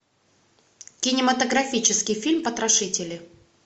кинематографический фильм потрошители